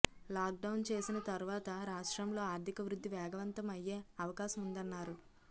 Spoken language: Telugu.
లాక్ డౌన్ చేసిన తర్వాత రాష్ట్రంలో ఆర్థిక వృద్ధి వేగవంతం అయ్యేఅవకాశముందన్నారు